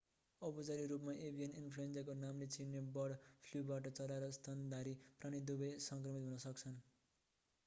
औपचारिक रूपमा एभियन इन्फ्लुएन्जाका नामले चिनिने बर्ड फ्लुबाट चरा र स्तनधारी प्राणी दुवै सङ्क्रमित हुन सक्छन्